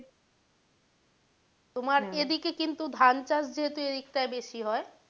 তোমার এদিকে যেহেতু ধান চাষ যেহেতু এদিক টায় বেশি হয়,